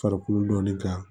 Farikolo dɔnni kan